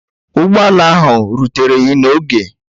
Ụgbọ ala ahụ ruteghi n'oge